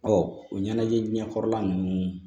o ɲɛnajɛjɛkɔrɔla nunnu